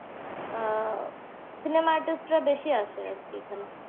আহ cinema artist রা বেশি আসে আরকি এখানে।